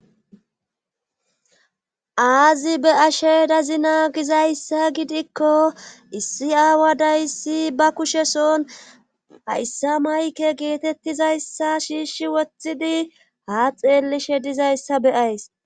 aazi be,she dazi naagizayssa gidikko issi aawa dayssi ba kusheson hayssa mayke geetettizayssa shiishi wothidi ha xeellishe dizayssa beyays